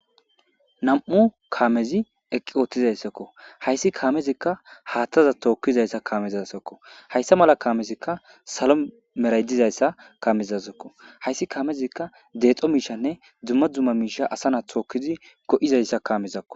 Nam'u kaamezi eqqi oothizayssakko hayssi kaamezikka haaththaza tookkizayssa kaamezazokko hayssa mela kaamezikka salo meray dizayssa kaamezazokko hayssi kaamezikka deexo miishshanne dzumma dzumma miisha asa na'a tookidzi go'izayssa kaamezakko.